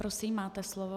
Prosím, máte slovo.